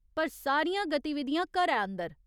पर सारियां गतिविधियां घरै अंदर।